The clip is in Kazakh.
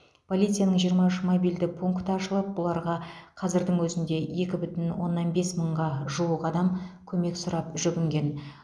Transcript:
полицияның жиырма үш мобильді пункті ашылып бұларға қазірдің өзінде екі бүтін оннан бес мыңға жуық адам көмек сұрап жүгінген